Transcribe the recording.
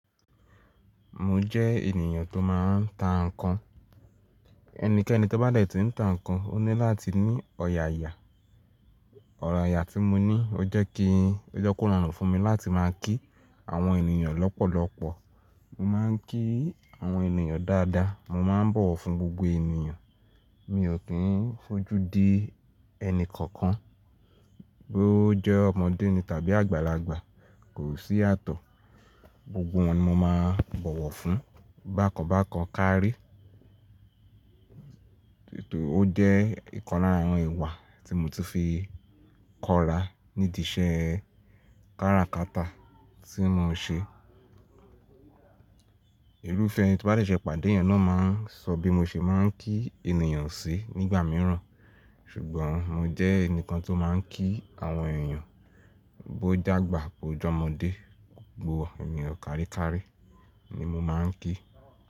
Mo jẹ́ ènìyàn tó máa ń ta nǹkan. Ẹnikẹ́ni tó bá dètí n ta nǹkan, ó ní láti ní ọ̀yààyà. Ọ̀yààyà tí mo ní ó jẹ́ kí ó rọrùn fún mi láti máa ń kí àwọn ènìyàn lọ́pọ̀lọpọ̀. Mo máa ń kí àwọn ènìyàn dáadáa, mo máa ń bọ̀wọ̀ fún gbogbo ènìyàn. Mi ò kí ń fojú di ẹni kankan, bó ó jẹ́ ọmọdé ni tàbí àgbàlagbà, kò sí yàtọ̀. Gbogbo wọn ni mo máa ń bọ̀wọ̀ fún, bákan bákan kárí. Nítorí ó jẹ́ ìkan lára àwọn ìwà tí mo ti fi kọrà nídi iṣẹ́ kárakata tí mo ń ṣe. Ìrufẹ́ tí mo bá ṣe pàdé ẹeyan náà máa ń sọ bí mo ṣe máa ń kí ènìyàn sí nígbà mìíràn. Ṣùgbọ́n mo jẹ́ ẹnìkan tó máa ń kí àwọn èeyàn bó jàgbà bó jọmọdé, gbogbo ènìyàn kárikári ni mo máa ń kí.